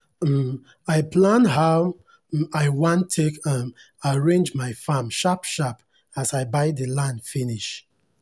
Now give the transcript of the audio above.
um i plan how um i wan take um arrange my farm sharp sharp as i buy the land finish